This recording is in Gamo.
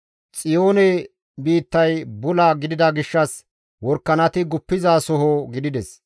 Xiyoone biittay bula gidida gishshas worakanati guppizasoho gidides.